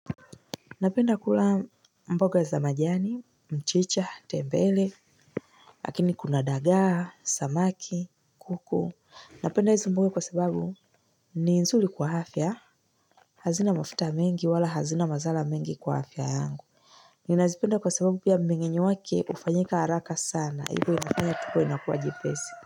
Napenda kula mboga za majani, mchicha, tembele, lakini kuna dagaa, samaki, kuku. Napenda hizi mboga kwa sababu ni nzuri kwa afya. Hazina mafuta mingi wala hazina mazala mingi kwa afya yangu. Ninaazipenda kwa sababu pia mbingenye wake ufanyika haraka sana. Ibo inafanya tuko inakuwa jipesi.